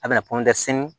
A bɛna